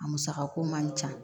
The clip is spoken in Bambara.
A musakako man ca